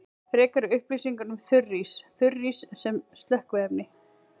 Frekari upplýsingar um þurrís: Þurrís sem slökkviefni.